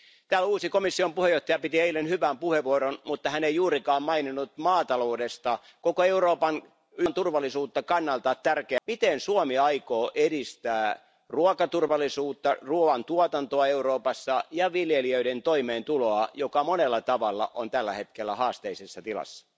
Täällä uusi komission puheenjohtaja piti eilen hyvän puheenvuoron, mutta hän ei juurikaan maininnut maataloutta, joka on tärkeä toimiala koko Euroopan turvallisuuden yhden osan kannalta. Miten Suomi aikoo edistää ruokaturvallisuutta, ruoan tuotantoa Euroopassa ja viljelijöiden toimeentuloa, joka monella tavalla on tällä hetkellä haasteellisessa tilassa?